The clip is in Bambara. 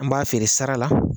An b'a feere sara la